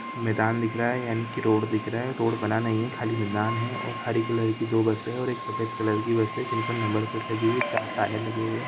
मैदान दिख रहा है यानि कि रोड दिख रहा है रोड बना नही है खाली मैदान है और हरी कलर की दो बसे है और एक सफ़ेद कलर की बस है जिन पर नंबर प्लेट लगी हुइ है चार टायर लगे हुए है ।